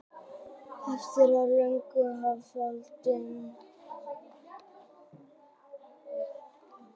þótt einhver sé lygari er ólíklegt að viðkomandi ljúgi alltaf